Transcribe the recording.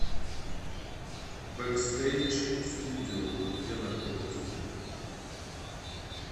бэкстэйдж студио где находится